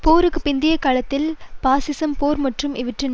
போருக்கு பிந்தைய காலத்தில் பாசிசம் போர் மற்றும் இவற்றிற்கு